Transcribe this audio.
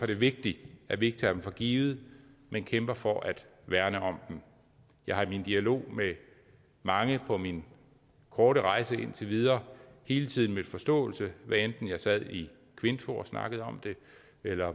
det vigtigt at vi ikke tager dem for givet men kæmper for at værne om dem jeg har i min dialog med mange på min korte rejse indtil videre hele tiden mødt forståelse hvad enten jeg sad i kvinfo og snakkede om det eller